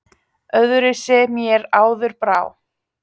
Öðruvísi mér áður brá.